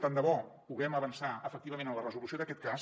tant de bo puguem avançar efectivament en la resolució d’aquest cas